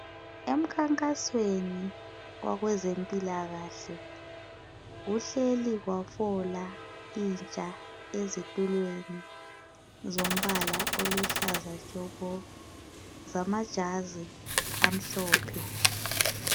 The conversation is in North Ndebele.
Emkhankasweni wabezempilakahle kuhleli kwafola intsha ezitulweni zombala oluhlaza tshoko lamajazi amhlophe